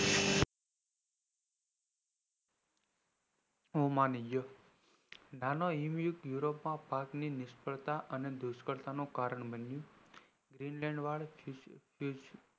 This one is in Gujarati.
નાના હિમ યુગ europe પાક ની નિષ્ફળતા અને દુષ્કાળ નું કારણ બન્યું